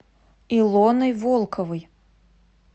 илоной волковой